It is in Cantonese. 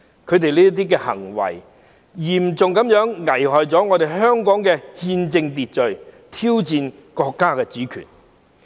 他們這些行為嚴重危害了香港的憲政秩序，挑戰國家主權。